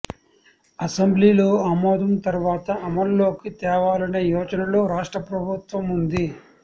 అసెంబ్లీలో ఆమోదం తర్వాత అమల్లోకి తేవాలనే యోచనలో రాష్ట్ర ప్రభుత్వ వుంది